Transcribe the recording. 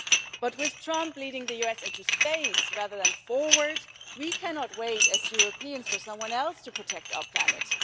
But with Trump leading the US into space rather than forwards, we cannot wait as Europeans for someone else to protect our planet.